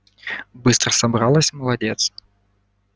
быстро собралась молодец